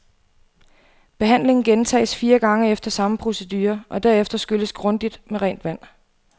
Behandlingen gentages fire gange efter samme procedure, og derefter skylles grundigt med rent vand.